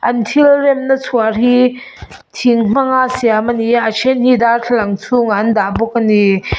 an thil remna chuar hi thing hmanga siam ania a then hi darthlalang chhungah an dah bawk ani.